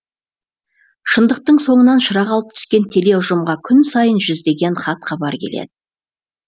шындықтың соңынан шырақ алып түскен теле ұжымға күн сайын жүздеген хат хабар келеді